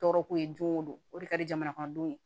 Tɔɔrɔko ye don o don o de ka di jamanakɔnɔdenw ye